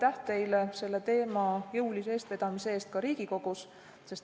Aitäh teile selle teema jõulise eestvedamise eest ka Riigikogus!